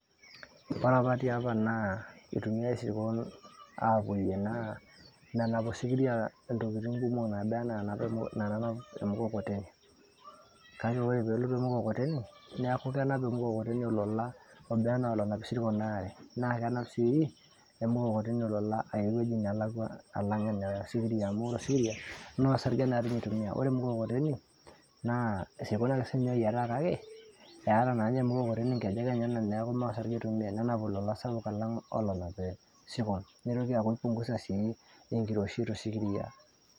Ore apa tiapa na keitumiae isirkon apoyie naa menap osikiria naba anaa naanap emkokoteni, ore peelotu emukokoteni neaku kenap naaba anaa nanap isirkon aare na keya ormukokoteni lolan enelakwa alang osikiria amu maa osarge na itumua kake ore ormukokoteni isirkon ake oyiataa kake eeta na ninye ormukokoteni nkejek enyenak neaku kenap olala sapuk alang enanap osikiria nitoki aki ki pungusa sii enkiroshi tosikiria.